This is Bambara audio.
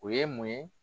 O ye mun ye